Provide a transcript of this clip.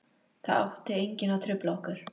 Það átti enginn að trufla okkur.